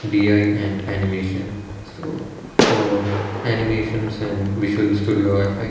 B_I and animation so for animations and visual studio effect.